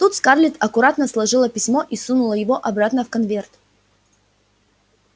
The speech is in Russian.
тут скарлетт аккуратно сложила письмо и сунула его обратно в конверт